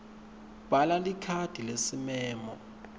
bhala likhadi lesimemo